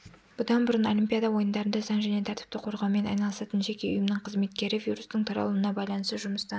бұдан бұрын олимпиада ойындарында заң және тәртіпті қорғаумен айналысатын жеке ұйымның қызметкері вирустың таралуына байланысты жұмыстан